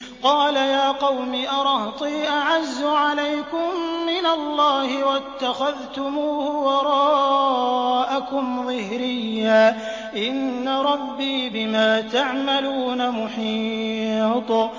قَالَ يَا قَوْمِ أَرَهْطِي أَعَزُّ عَلَيْكُم مِّنَ اللَّهِ وَاتَّخَذْتُمُوهُ وَرَاءَكُمْ ظِهْرِيًّا ۖ إِنَّ رَبِّي بِمَا تَعْمَلُونَ مُحِيطٌ